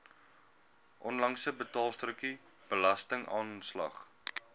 onlangse betaalstrokie belastingaanslag